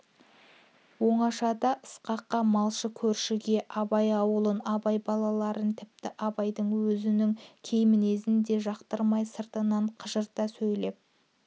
оңашада ысқаққа малшы көршіге абай аулын абай балаларын тіпті абайдың өзінің кей мінезін де жақтырмай сыртынан қыжырта сөйлеп